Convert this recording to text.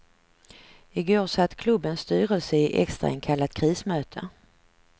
I går satt klubbens styrelse i extrainkallat krismöte.